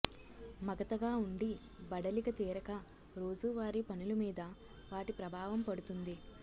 మగతగా ఉండి బడలిక తీరక రోజు వారీ పనులు మీద వాటి ప్రభావం పడుతుంది